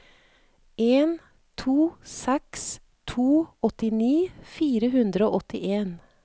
en to seks to åttini fire hundre og åttien